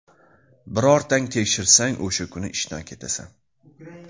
Birortang tekshirsang, o‘sha kuni ishdan ketasan.